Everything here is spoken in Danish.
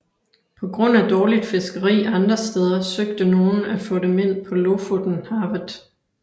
På grund af dårligt fiskeri andre steder søgte nogen få af dem ind på Lofotenhavet